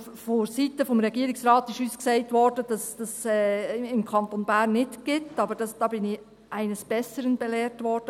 Also: Vonseiten des Regierungsrates wurde uns gesagt, dass es dies im Kanton Bern nicht gibt, aber da bin ich aus unserer Fraktion eines Besseren belehrt worden.